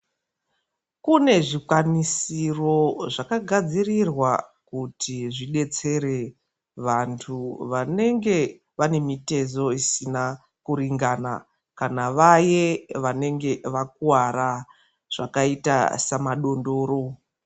Kune zvikwanisiro zvakagadzirirwa kuti zvidetsere vantu vanenge vane mitezo isina kuringana, kana vaye vanenge vakuwara zvakaita semadondoro.